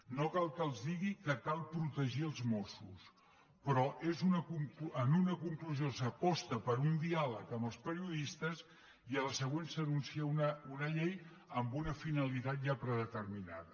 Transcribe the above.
no cal que els digui que cal protegir els mossos però en una conclusió s’aposta per un diàleg amb els periodistes i a la següent s’anuncia una llei amb una finalitat ja predeterminada